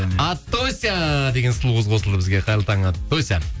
аттося деген сұлу кыз қосылды бізге қайырлы таң аттося